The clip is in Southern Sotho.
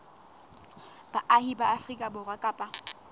baahi ba afrika borwa kapa